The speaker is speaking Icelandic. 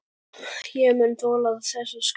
Ég mun þola þessa skál.